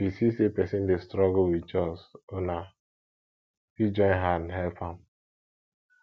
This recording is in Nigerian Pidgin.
if you see sey person dey struggle with chores una fit join hand help am